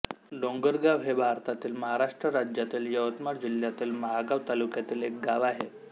डोंगरगाव हे भारतातील महाराष्ट्र राज्यातील यवतमाळ जिल्ह्यातील महागांव तालुक्यातील एक गाव आहे